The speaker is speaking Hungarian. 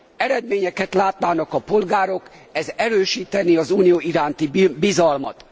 eredményeket látnának a polgárok, ez erősítené az Unió iránti bizalmat.